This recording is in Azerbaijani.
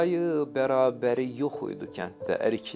Tayı bərabəri yox idi kənddə əriklər.